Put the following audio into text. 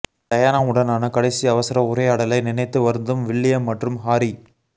டயானாவுடனான கடைசி அவசர உரையாடலை நினைத்து வருந்தும் வில்லியம் மற்றும் ஹாரி